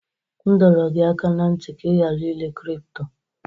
M dọrọ gị aka ná ntị ka ị ghara ire kripto!